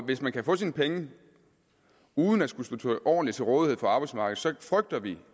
hvis man kan få sine penge uden at skulle stå ordentligt til rådighed for arbejdsmarkedet frygter vi